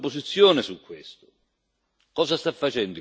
Il Parlamento ha approvato la sua posizione su questo.